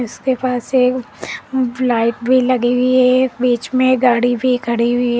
उसके पास एक लाइट भी लगी हुई है एक बीच में गाड़ी भी खड़ी हुई है।